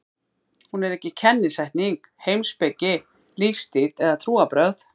Hún er ekki kennisetning, heimspeki, lífstíll eða trúarbrögð.